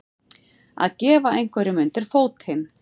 Að gefa einhverjum undir fótinn